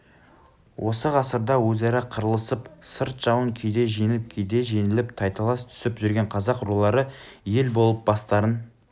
осы ғасырда өзара қырылысып сырт жауын кейде жеңіп кейде жеңіліп тайталас түсіп жүрген қазақ рулары ел болып бастарын